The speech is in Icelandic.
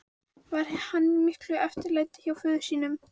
Var hann í miklu eftirlæti hjá föður sínum.